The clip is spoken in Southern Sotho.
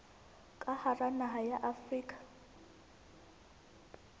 ka hara naha ya afrika